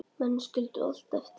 Menn skildu allt eftir.